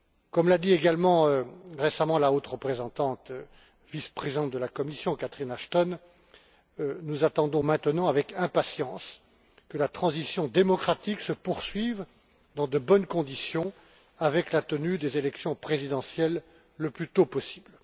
Comme l'a dit également récemment la haute représentante vice présidente de la Commission, Catherine Ashton, nous attendons maintenant avec impatience que la transition démocratique se poursuive dans de bonnes conditions avec la tenue des élections présidentielles le plus tôt possible.